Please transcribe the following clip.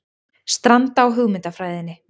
Stranda á hugmyndafræðinni